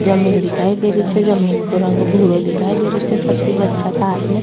जमींन दिखाई दे रही छे जमींन को रंग भूरो दिखाई दे रियो छे सभी बच्चा का हाथ में --